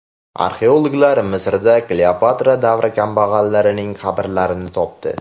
Arxeologlar Misrda Kleopatra davri kambag‘allarining qabrlarini topdi.